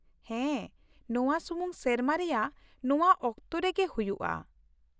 ᱦᱮᱸ , ᱱᱚᱶᱟ ᱥᱩᱢᱩᱝ ᱥᱮᱨᱢᱟ ᱨᱮᱭᱟᱜ ᱱᱚᱶᱟ ᱚᱠᱛ ᱨᱮᱜᱮ ᱦᱩᱭᱩᱜᱼᱟ ᱾